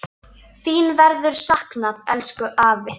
Þín verður saknað, elsku afi.